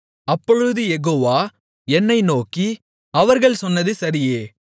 அப்பொழுது யெகோவா என்னை நோக்கி அவர்கள் சொன்னது சரியே